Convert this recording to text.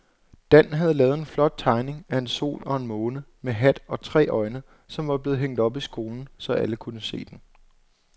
Dan havde lavet en flot tegning af en sol og en måne med hat og tre øjne, som blev hængt op i skolen, så alle kunne se den.